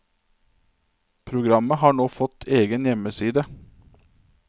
Programmet har nå fått egen hjemmeside.